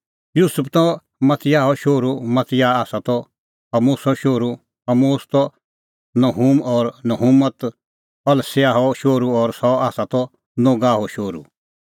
युसुफ त मतियाहो शोहरू मतियाह त आमोसो शोहरू आमोस त नहूम और नहूम त अस्ल्याहो शोहरू और सह त नोगहो शोहरू